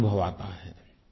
क्या अनुभव आता है